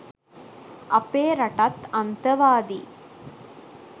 අපේ රටත් අන්තවාදී